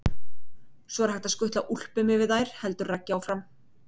Svo er hægt að skutla úlpum yfir þær heldur Raggi áfram.